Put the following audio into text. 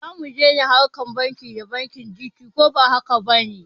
Zamu dai na harkar banki da bankin Gt koba hakaba ne?